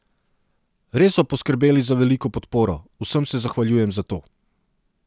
Res so poskrbeli za veliko podporo, vsem se zahvaljujem za to.